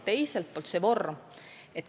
Teiselt poolt, selle töövorm.